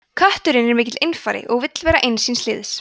kötturinn er mikill einfari og vill vera eins síns liðs